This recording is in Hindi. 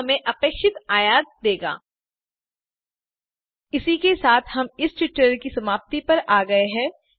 यह हमें अपेक्षित आयत देगा इसी के साथ हम इस ट्यूटोरियल की समाप्ति की ओर आ गये हैं